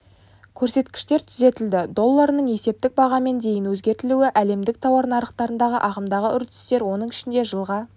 көрсеткіштер түзетілді долларының есептік бағамын дейін өзгертілуі әлемдік тауар нарықтарындағы ағымдағы үрдістер оның ішінде жылға